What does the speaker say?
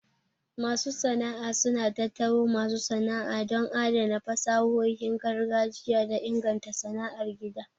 Masu sana'a suna tattaro masu sana'a don adana fasahohin gargajiya da inganta sana'ar gida.